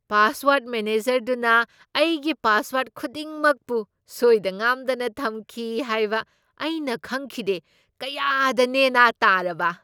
Password ꯃꯦꯅꯦꯖꯔꯗꯨꯅ ꯑꯩꯒꯤ password ꯈꯨꯗꯤꯡꯃꯛꯄꯨ ꯁꯣꯏꯗ ꯉꯥꯝꯗꯅ ꯊꯝꯈꯤ ꯍꯥꯏꯕ ꯑꯩꯅ ꯈꯪꯈꯤꯗꯦ꯫ ꯀꯌꯥꯗ ꯅꯦ ꯅꯥ ꯇꯥꯔꯕ!